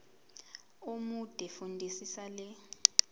omude fundisisa le